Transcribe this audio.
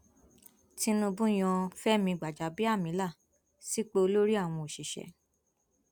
tinúbù yan fẹmi gbajàbíàmílà sípò olórí àwọn òṣìṣẹ